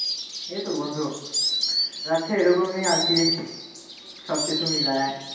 এই তো বন্ধু, যাচ্ছে, এইরকমই আর কি সব কিছু মিলায়ে।